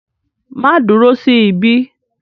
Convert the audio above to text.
Màá dúró sí ibí.